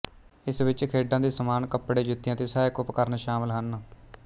ਇਸ ਵਿੱਚ ਖੇਡਾਂ ਦੇ ਸਮਾਨ ਕਪੜੇ ਜੁੱਤੀਆਂ ਅਤੇ ਸਹਾਇਕ ਉਪਕਰਣ ਸ਼ਾਮਲ ਹਨ